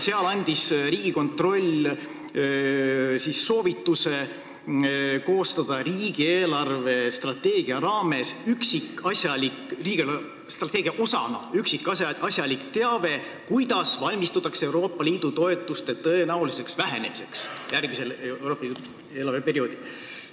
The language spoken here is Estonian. Seal andis Riigikontroll soovituse koostada riigi eelarvestrateegia osana üksikasjalik teave, kuidas valmistutakse Euroopa Liidu toetuste tõenäoliseks vähenemiseks järgmisel eelarveperioodil.